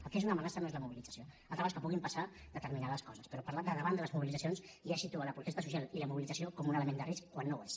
el que és una amenaça no és la mobilització altra cosa és que puguin passar determinades coses però parlar de davant de les mobilitzacions ja situa la protesta social i la mobilització com un element de risc quan no ho és